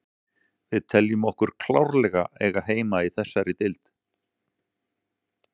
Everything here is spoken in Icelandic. Við teljum okkur klárlega eiga heima í þessari deild.